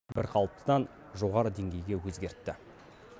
бірқалыптыдан жоғары деңгейге өзгертті